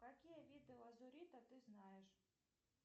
какие виды лазурита ты знаешь